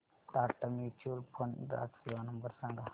Tata mutual fund ग्राहक सेवा number सांगा